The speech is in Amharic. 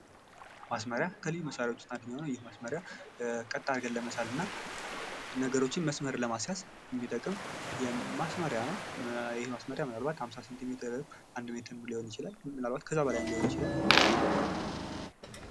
ማስመሪያ ከልዩ መሳሪያዎች ውስጥ የምናገኘው ነው ። ይህ ማስመሪያ ቀጥ አድርገን ለመሳልና ነገሮችን መስመር ለማስያዝ የሚጠቅም ማስመሪያ ነው ። ይሄ ማስመሪያ ምናልባት ሃምሳ ሴንቲሜትርም ፣ አንድ ሜትርም ሊሆን ይችላል ምናልባት ከዛ በላይም ሊሆን ይችላል ።